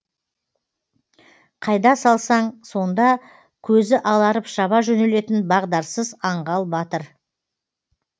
қайда салсаң сонда көзі аларып шаба жөнелетін бағдарсыз аңғал батыр